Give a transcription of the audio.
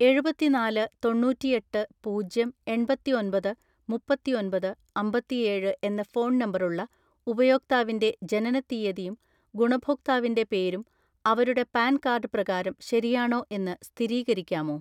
എഴുപത്തിനാല് തൊണ്ണൂറ്റിഎട്ട് പൂജ്യം എണ്‍പത്തിഒന്‍പത് മുപ്പത്തിഒന്‍പത് അമ്പത്തിഏഴ് എന്ന ഫോൺ നമ്പറുള്ള ഉപയോക്താവിന്റെ ജനനത്തീയതിയും ഗുണഭോക്താവിന്റെ പേരും അവരുടെ പാൻ കാർഡ് പ്രകാരം ശരിയാണോ എന്ന് സ്ഥിരീകരിക്കാമോ?